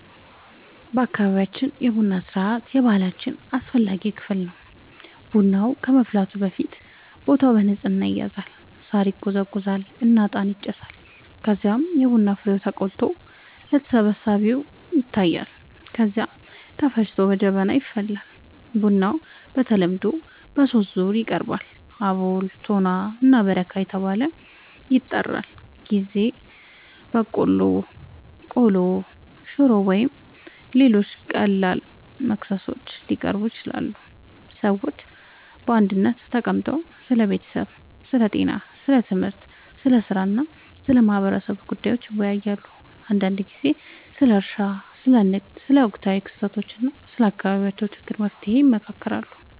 በአካባቢያችን የቡና ሥርዓት የባህላችን አስፈላጊ ክፍል ነው። ቡናው ከመፍላቱ በፊት ቦታው በንጽህና ይዘጋጃል፣ ሳር ይጎዘጎዛል እና እጣን ይጨሳል። ከዚያም የቡና ፍሬው ተቆልቶ ለተሰብሳቢዎች ይታያል፣ ከዚያ ተፈጭቶ በጀበና ይፈላል። ቡናው በተለምዶ በሦስት ዙር ይቀርባል፤ አቦል፣ ቶና እና በረካ ተብለው ይጠራሉበ ጊዜ በቆሎ፣ ቆሎ፣ ሽሮ ወይም ሌሎች ቀላል መክሰሶች ሊቀርቡ ይችላሉ። ሰዎች በአንድነት ተቀምጠው ስለ ቤተሰብ፣ ስለ ጤና፣ ስለ ትምህርት፣ ስለ ሥራ እና ስለ ማህበረሰቡ ጉዳዮች ይወያያሉ። አንዳንድ ጊዜ ስለ እርሻ፣ ስለ ንግድ፣ ስለ ወቅታዊ ክስተቶች እና ስለ አካባቢው ችግሮች መፍትሔ ይመካከራሉ